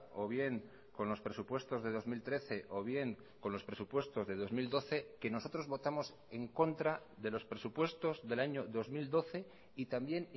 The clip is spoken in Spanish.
o bien con los presupuestos de dos mil trece o bien con los presupuestos de dos mil doce que nosotros votamos en contra de los presupuestos del año dos mil doce y también